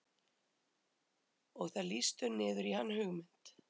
Og það lýstur niður í hann hugmynd